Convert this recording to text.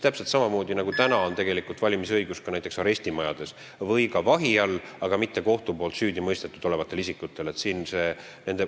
Täpselt samamoodi, nagu praegu on valimisõigus näiteks arestimajades või ka vahi all olijatel, aga mitte kohtus süüdi mõistetud isikutel.